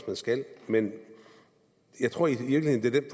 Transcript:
man skal men jeg tror i virkeligheden at det